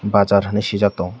bazzar hinui sui jak tongo.